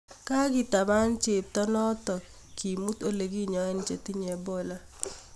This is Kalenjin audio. Kogitaban cheptoo notokak kimut ole kinyae che tinye Ebola